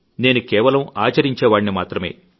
నేను కేవలం ఆచరించే వాడిని మాత్రమే